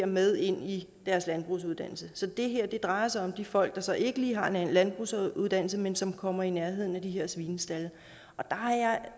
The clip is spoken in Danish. med ind i deres landbrugsuddannelse så det her drejer sig om de folk der så ikke lige har en landbrugsuddannelse men som kommer i nærheden af de her svinestalde og der